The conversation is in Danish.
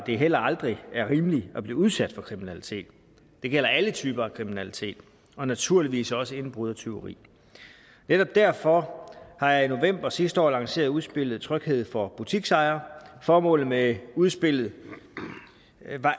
det heller aldrig er rimeligt at blive udsat for kriminalitet det gælder alle typer af kriminalitet og naturligvis også indbrud og tyveri netop derfor har jeg i november sidste år lanceret udspillet tryghed for butiksejere formålet med udspillet